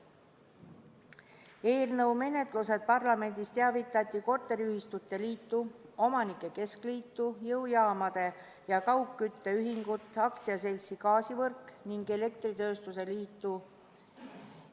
Eelnõu menetlusest parlamendis teavitati Eesti Korteriühistute Liitu, Eesti Omanike Keskliitu, Eesti Jõujaamade ja Kaugkütte Ühingut, AS-i Gaasivõrk ning Eesti Elektritööstuse Liitu.